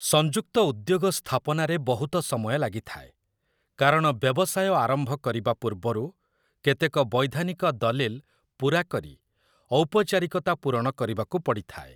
ସଂଯୁକ୍ତ ଉଦ୍ୟୋଗ ସ୍ଥାପନାରେ ବହୁତ ସମୟ ଲାଗିଥାଏ, କାରଣ ବ୍ୟବସାୟ ଆରମ୍ଭ କରିବା ପୂର୍ବରୁ କେତେକ ବୈଧାନିକ ଦଲିଲ୍ ପୁରା କରି ଔପଚାରିକତା ପୂରଣ କରିବାକୁ ପଡ଼ିଥାଏ ।